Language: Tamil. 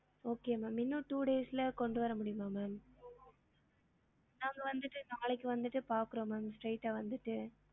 Okay ma'am இன்னும் two days ல கொண்டு வர முடியுமா ma'am நாங்க வந்திட்டு நாளைக்கு வந்திட்டு பாக்குறோம் ma'am straight ஆ வந்துட்டு